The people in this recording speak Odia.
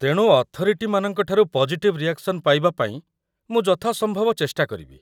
ତେଣୁ ଅଥରିଟିମାନଙ୍କ ଠାରୁ ପଜିଟିଭ୍ ରିଆକ୍‌ସନ୍ ପାଇବା ପାଇଁ ମୁଁ ଯଥାସମ୍ଭବ ଚେଷ୍ଟା କରିବି ।